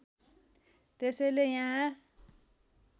त्यसैले यहाँ